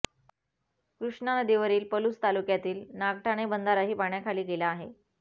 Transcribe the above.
कृष्णा नदीवरील पलूस तालुक्यातील नागठाणे बंधाराही पाण्याखाली गेला आहे